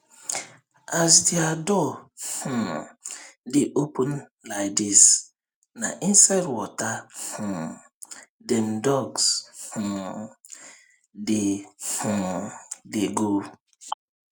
as dia door um dey open laidis na inside water um dem ducks um dey um dey go